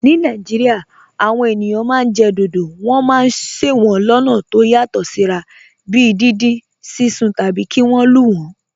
Ní Nàìjíríà, àwọn ènìyàn máa ń jẹ dodo. Wọ́n máa ń se wọ́n lọ́nà tó yàtọ̀ síra, bíi dindin, sísun, tàbí kí wọ́n lù wọ́n.